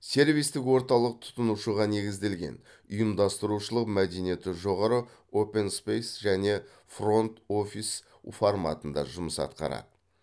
сервистік орталық тұтынушыға негізделген ұйымдастырушылық мәдениеті жоғары оупэн спейс және фронт офис форматында жұмыс атқарады